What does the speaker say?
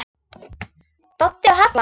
Eða skrifa eitt bréf?